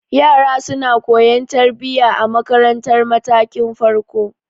Yara suna koyan tarbiya a marantar matakin farko.